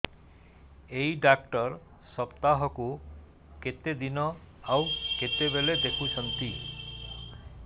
ଏଇ ଡ଼ାକ୍ତର ସପ୍ତାହକୁ କେତେଦିନ ଆଉ କେତେବେଳେ ଦେଖୁଛନ୍ତି